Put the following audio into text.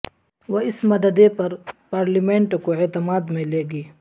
وہ اس مددے پر پارلیمنٹ کو اعتماد میں لے گی